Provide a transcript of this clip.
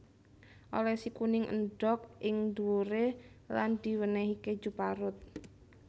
Olesi kuning endhog ing dhuwure lan diwenehi keju parut